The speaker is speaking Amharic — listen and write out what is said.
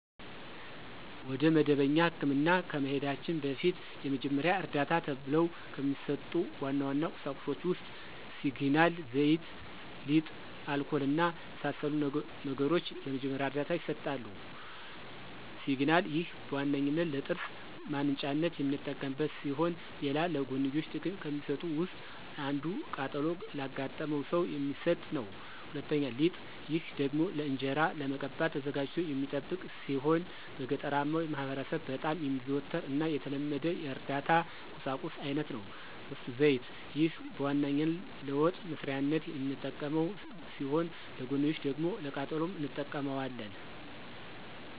ወደ መደበኛ ህክምና ከመሂዳችን በፊት የመጀመሪያ ዕርዳታ ተብሎው ከሚሰጡ ዋና ዋና ቁሳቁሶች ውስጥ ሲግናል፣ ዘይት፣ ሊጥ፣ አልኮል እና መሰል ነገሮች ለመጀመሪያ ዕርዳታ ይሰጣሉ። ፩) ሲግናል፦ ይህ በዋነኛነት ለጥርስ ማንጫነት የምንጠቀምበት ሲሆን ሌላ ለጎንዮሽ ጥቅም ከሚሰጡት ውስጥ አንዱ ቃጠሎ ላጋጠመው ሰው የሚሰጥ ነው። ፪) ሊጥ፦ ይህ ደግሞ ለእንጅራ ለመቀባት ተዘጋጅቶ የሚጠብቅ ሲሆን በገጠራማው ማህበረሰብ በጣም የሚዘወተር እና የተለመደ የእርዳታ ቁሳቁስ አይነት ነው። ፫) ዘይት፦ ይህ በዋነኛነት ለወጥ መስሪያነት የምንጠቀመው ሲሆን ለጎንዮሽ ደግሞ ለቃጠሎም እንጠቀመዋለን።